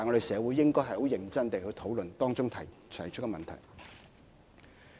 社會應該很認真地討論當中提出的問題。